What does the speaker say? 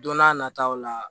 Don n'a nataw la